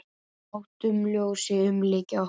Látum ljósið umlykja okkur.